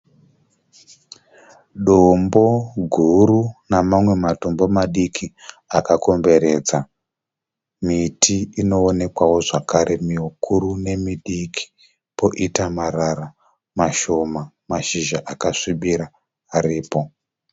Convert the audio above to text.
Dombo guru namamwe matombo madiki akakomberedza miti inoonekwawo zvakare mikuru nemidiki poita marara mashoma mashizha akasvibira aripo.